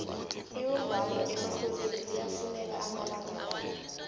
ibumbano erhwebeni liyafuneka amalanga la